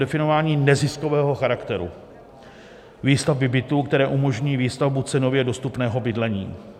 Definováním neziskového charakteru výstavby bytů, které umožní výstavbu cenově dostupného bydlení.